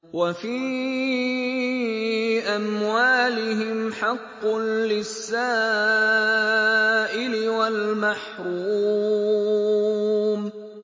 وَفِي أَمْوَالِهِمْ حَقٌّ لِّلسَّائِلِ وَالْمَحْرُومِ